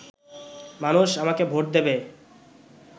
মানুষ আমাকে ভোট দেবে